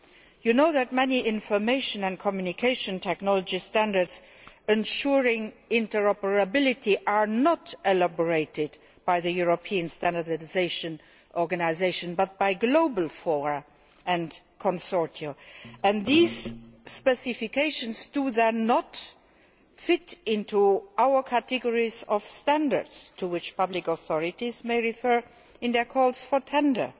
You know that many information and communication technology standards ensuring interoperability are elaborated not by the European standardisation organisations but by global forums and consortiums, and these specifications do not then fit into our categories of standards to which public authorities may refer in their calls for tender.